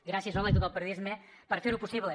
gràcies hola i tot el periodisme per fer ho possible